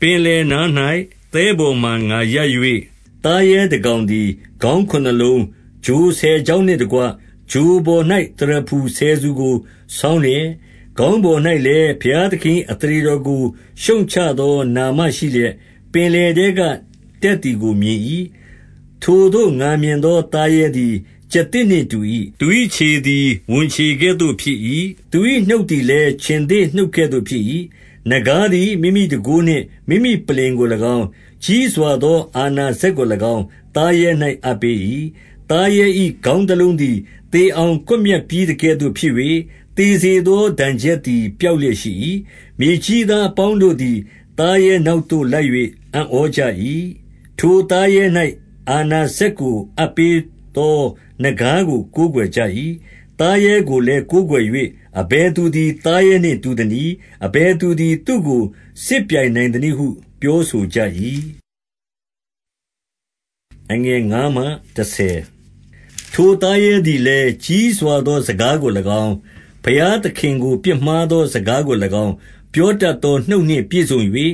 ပင်လယ်နား၌ သဲပေါ်မှာ ငါရပ်၍၊ သားရဲ တကောင်သည် ခေါင်းခုနစ်လုံး၊ ချိုဆယ်ချောင်းနှင့်တကွ ချိုပေါ်၌ သရဖူဆယ်ဆူကို ဆောင်းလျက်၊ ခေါင်းပေါ်၌ လည်း ဘုရားသခင်၏ အသရေတော်ကို ရှုတ်ချသော နာမရှိလျက်၊ ပင်လယ်ထဲကတက်သည်ကို မြင်၏။ ထိုသို့ ငါမြင်သောသားရဲသည် ကျားသစ်နှင့် တူ၏။ သူ၏ခြေသည် ဝံခြေကဲ့သို့ဖြစ်၏။ သူ၏နှုတ်သည် လည်း ခြင်္သေ့နှုတ်ကဲ့သို့ဖြစ်၏။ နဂါးသည် မိမိတန်ခိုးနှင့် မိမိပလ္လင်ကို၎င်း၊ ကြီးစွာသော အာဏာစက်ကို၎င်း သားရဲ၌ အပ်ပေး၏။ သားရဲ၏ ခေါင်းတလုံးသည် သေအောင်ကွပ်မျက်ပြီးသကဲ့သို့ ဖြစ်၍၊ သေစေသောဒဏ်ချက်သည် ပျောက်လျက်ရှိ၏။ မြေကြီးသားအပေါင်းတို့သည် သားရဲနောက်သို့ လိုက်၍ အံ့ဩကြ၏။ ထိုသားရဲ၌ အာဏာစက်ကို အပ်ပေးသော နဂါးကို ကိုးကွယ်ကြ၏။ သားရဲကိုလည်း ကိုးကွယ်၍၊ အဘယ်သူသည် သားရဲနှင့်တူသနည်း။ အဘယ်သူသည် သူ့ကိုစစ်ပြိုင်နိုင်သနည်းဟု ပြောဆိုကြ၏။ ထိုသားရဲသည်လည်း ကြီးစွာသော စကားကို၎င်း၊ ဘုရားသခင်ကို ပြစ်မှားသောစကားကို၎င်း၊ ပြော တတ်သော နှုတ်နှင့်ပြည့်စုံ၍၊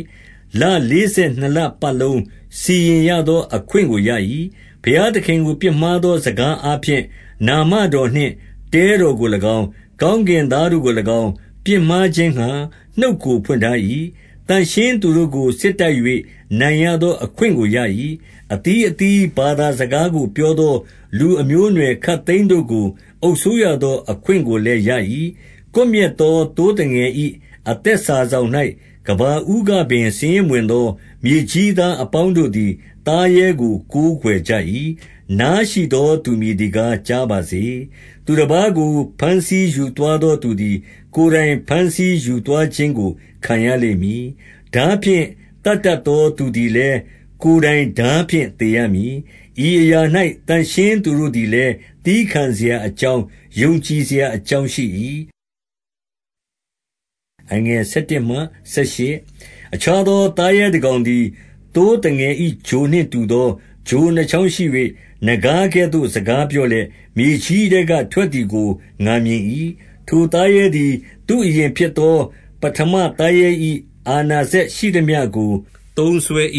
လလေးဆယ်နှစ်လပတ်လုံး စီရင်ရသောအခွင့်ကိုရ၏။ ဘုရားသခင်ကို ပြစ်မှားသောစကားအားဖြင့် နာမတော်နှင့် တဲတော်ကို၎င်း၊ ကောင်းကင်သားတို့ကို၎င်း၊ ပြစ်မှားခြင်းငှါ နှုတ်ကို ဖွင့်ထား၏။ သန့်ရှင်းသူတို့ကို စစ်တိုက်၍ နိုင်ရသောအခွင့် ကိုရ၏။ အသီးအသီး ဘာသာစကားကို ပြောသော လူအမျိုးအနွယ်ခပ်သိမ်းတို့ကို အုပ်စိုးရသော အခွင့်ကိုလည်း ရ၏။ ကွပ်မျက်သောသိုးသငယ်၏ အသက်စာစောင်၌ ကမ္ဘာဦးကပင် စာရင်းမဝင်သော မြေကြီးသား အပေါင်းတို့သည် သားရဲကို ကိုးကွယ်ကြ၏။ နားရှိသောသူမည်သည်ကား ကြားပါစေ။ သူတပါးကို ဘမ်းဆီးယူသွားသောသူသည် ကိုယ်တိုင်ဘမ်းဆီးယူသွားခြင်းကို ခံရလိမ့်မည်။ ထားဖြင့် သတ်တတ်သော သူသည်လည်း ကိုယ်တိုင် ထားဖြင့်သေရမည်။ ဤအရာ၌ သန့်ရှင်းသူတို့လည်း သည်းခံစရာ အကြောင်း၊ ယုံကြည်စရာအကြောင်းရှိ၏။ အခြားသော သားရဲတကောင်သည်၊ သိုးသငယ်၏ ချိုနှင့်တူသော ချိုနှစ်ချောင်းရှိ၍၊ နဂါးကဲ့သို့ စကားပြောလျက်၊ မြေကြီးထဲက ထွက်သည်ကို ငါမြင်၏။ ထိုသားရဲသည် သူ့အရင်ဖြစ်သော ပဋ္ဌမသားရဲ၏ အာဏာစက်ရှိသမျှကို သုံးစွဲ၏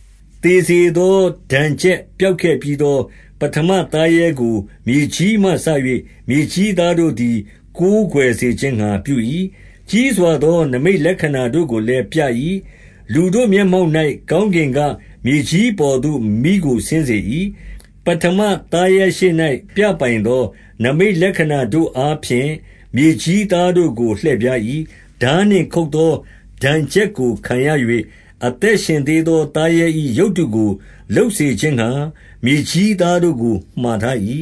။ သေစေသော ဒဏ်ချက်ပျောက်ခဲ့ပြီးသော ပဋ္ဌမသားရဲကို မြေကြီးမှစ၍ မြေကြီးသားတို့သည် ကိုးကွယ်စေခြင်းငှါ ပြု၏။ ကြီးစွာသော နိမိတ်လက္ခဏာတို့ကိုလည်းပြ၏။ လူတို့မျက်မှောက်၌ ကောင်းကင်က မြေကြီးအပေါ်သို့ မီးကို ဆင်းစေ၏။ ပဌမသားရဲရှေ့၌ ပြပိုင်သောနိမိတ်လက္ခဏာတို့အားဖြင့် မြေကြီးသားတို့ကို လှည့်ဖြား၏။ ထားနှင့် ခုတ်သောဒဏ်ချက်ကို ခံရ၍ အသက်ရှင်သေးသော သားရဲ၏ ရုပ်တုကို လုပ်စေခြင်းငှါ မြေကြီးသားတို့ကို မှာထား၏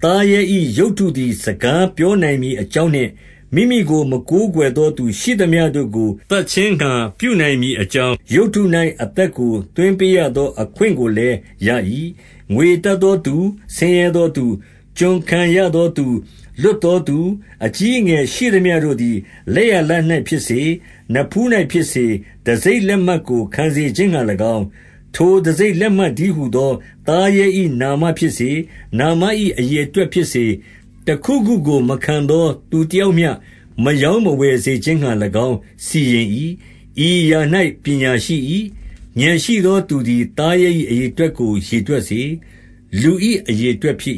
။ သားရဲ၏ ရုပ်တုသည် စကားပြောနိုင်မည် အကြောင်းနှင့်၊ မိမိကို မကိုးကွယ်သောသူရှိသမျှတို့ကို သတ်ခြင်းငှါ ပြုနိုင်မည်အကြောင်း၊ ရုပ်တု၌ အသက်ကို သွင်းပေးရသော အခွင့်ကိုလည်းရ၏။ ငွေရတတ်သောသူ၊ ဆင်းရဲသောသူ၊ ကျွန်ခံ ရသောသူ ၊ လွတ်သောသူ၊ အကြီးအငယ်ရှိသမျှတို့သည် လက်ျာလက်၌ဖြစ်စေ၊ နဖူး၌ဖြစ်စေ၊ တံဆိပ်လက်မှတ်ကို ခံစေခြင်းငှါ၎င်း၊ ထိုတံဆိပ်လက်မှတ်တည်းဟူသော သားရဲ၏ နာမဖြစ်စေ၊ နာမ၏ အရေအတွက်ဖြစ်စေ၊ တခုခုကို မခံသောသူတယောက်မျှ မရောင်းမဝယ်စေခြင်းငှါ၎င်း စီရင်၏။ ဤအရာ၌ပညာရှိ၏။ ဥာဏ်ရှိသောသူသည် သားရဲ၏ အရေအတွက်ကို ရေတွက်စေ။ လူ၏ အရေ အတွက်ဖြစ်